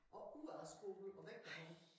Og ud af æ skole og væk med ham